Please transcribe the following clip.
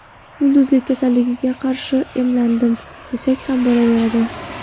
Yulduzlik kasalligiga qarshi emlandim, desak ham bo‘laveradi”.